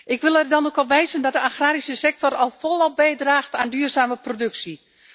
Ik wil er dan ook op wijzen dat de agrarische sector al volop bijdraagt aan duurzame productie.